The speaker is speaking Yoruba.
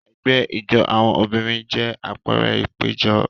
Ẹgbẹ́ ijó àwọn obìnrin jẹ́ àpẹẹrẹ ìpéjọ.